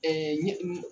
ɲɛ